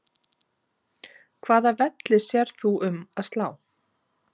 Hvaða velli sérð þú um að slá?